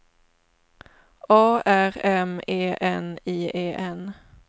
A R M E N I E N